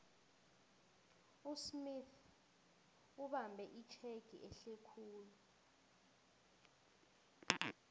usmith ubambe itjhegi ehlekhulu